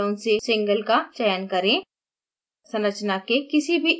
bond order drop down से single चयन करें